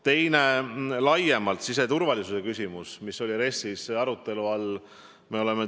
Teine teema, mis RES-i kontekstis arutelu all oli, oli laiemalt siseturvalisuse küsimus.